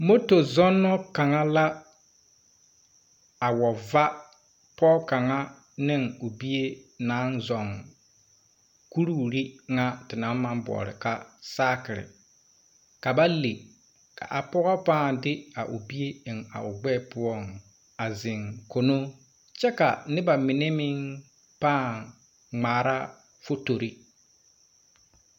Moto zɔnno kang la a wa va poɔ kanga ne ɔ bie nang zung kuriwiri nga te nang mang bouli ka sakiri ka ba le ka a poɔ paa de a ɔ bie a en a ɔ gbee pou a zeng mini kye ka nuba mene meng paa ngmaara fotori.